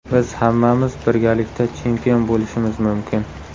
Biz hammamiz birgalikda chempion bo‘lishimiz mumkin.